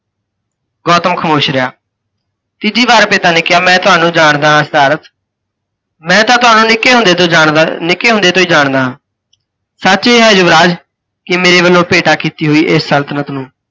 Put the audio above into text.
ਗੌਤਮ ਖਾਮੋਸ਼ ਰਿਹਾ। ਤੀਜੀ ਬਾਰ ਪਿਤਾ ਨੇ ਕਿਹਾ, ਮੈਂ ਤੁਹਾਨੂੰ ਜਾਣਦਾ ਹਾਂ ਸਿਧਾਰਥ, ਮੈਂ ਤਾਂ ਤੁਹਾਨੂੰ ਨਿੱਕੇ ਹੁੰਦੇ ਤੋਂ ਜਾਣਦਾ ਨਿੱਕੇ ਹੁੰਦੇ ਤੋਂ ਹੀ ਜਾਣਦਾ ਹਾਂ। ਸੱਚ ਇਹ ਹੈ ਯੁਵਰਾਜ ਕਿ ਮੇਰੇ ਵਲੋਂ ਭੇਟਾ ਕੀਤੀ ਹੋਈ ਇਹ ਸਲਤਨਤ ਨੂੰ